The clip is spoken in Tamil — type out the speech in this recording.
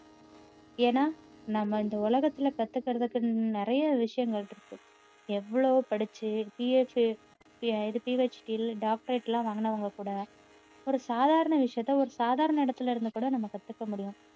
ஏன்னா நம்ம இந்த உலகத்துல கத்துக்கிறதுக்கு நிறைய விஷயங்கள் இருக்கு எவ்வளவு படிச்சு PhD doctorate எல்லாம் வாங்கினவங்க கூட ஒரு சாதாரண விஷயத்த சாதாரண இடத்துல இருந்து கூட நம்ம கத்துக்க முடியும்